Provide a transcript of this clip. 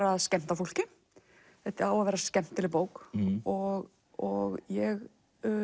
að skemmta fólki þetta á að vera skemmtileg bók og og ég